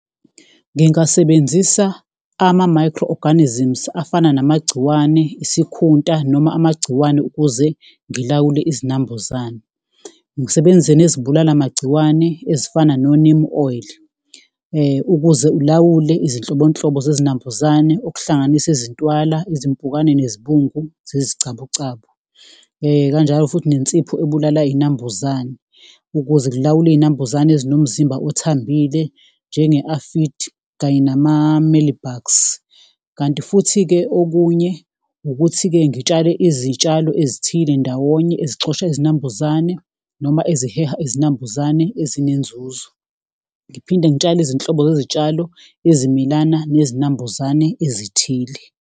Ngingasebenzisa ama-microorganisms afana namagciwane, isikhunta noma amagciwane ukuze ngilawule izinambuzane, ngisebenzise nezibulala magciwane ezifana no-neem oil . Ukuze ulawule izinhlobonhlobo zezinambuzane okuhlanganisa izintwala, izimpukane, izibungu zezicabucabu, kanjalo futhi nensipho ebulala iyinambuzane ukuze ngilawule iyinambuzane ezinomzimba othambile njenge-aphid kanye nama-mealybugs. Kanti futhi-ke okunye ukuthi-ke ngitshale izitshalo ezithile ndawonye ezixosha izinambuzane noma eziheha izinambuzane ezinenzuzo, ngiphinde ngitshale izinhlobo zezitshalo ezimilana nezinambuzane ezithile.